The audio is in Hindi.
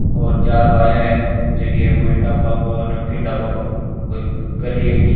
और चार भाया है जकी ए ओ ढ़ाबा को नमकीन ढ़ाबा को कोई कर री है कि।